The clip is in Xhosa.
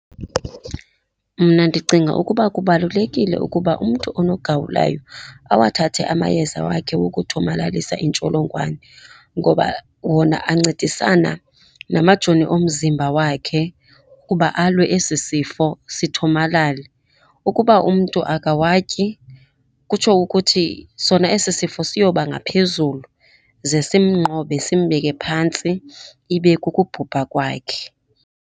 Mna ndicinga ukuba kubalulekile ukuba umntu onogawulayo awathathe amayeza wakhe wokuthomalalisa intsholongwane. Ngoba wona ancedisana namajoni omzimba wakhe ukuba alwe esi sifo sithomalale. Ukuba umntu akawatyi kutsho ukuthi sona esi sifo siyoba ngaphezulu, ze simnqobe simbeke phantsi ibe kukubhubha kwakhe.